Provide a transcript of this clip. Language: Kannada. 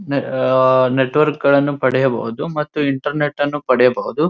ನೆ ಅಹ್ ನೆಟ್ವರ್ಕ್ ಗಳನ್ನು ಪಡೆಯಬಹುದು ಮತ್ತು ಇಂಟರನೆಟ್ ಅನ್ನು ಪಡೆಯಬಹುದು.